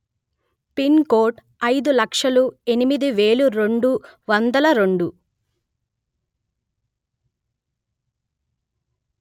pin code అయిదు లక్షలు ఎనిమిది వెలు రెండు వందలు రెండు